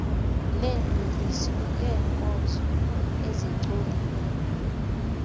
nemveliso yeenkozo ezicoliweyo